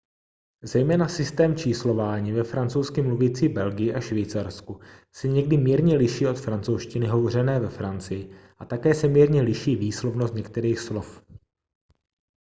zejména systém číslování ve francouzsky mluvící belgii a švýcarsku se někdy mírně liší od francouzštiny hovořené ve francii a také se mírně liší výslovnost některých slov